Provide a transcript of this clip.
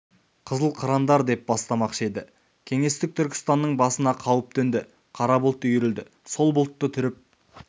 қызыл қырандар деп бастамақшы еді кеңестік түркістанның басына қауіп төнді қара бұлт үйірілді сол бұлтты түріп